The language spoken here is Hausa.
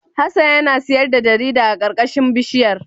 Hassan yana sayar da jarida a karkashin bishiyar.